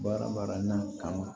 Baara baranin kama